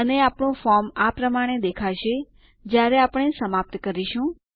અને આપણું ફોર્મ આ પ્રમાણે દેખાશે જ્યારે આપણે સમાપ્ત કરીશું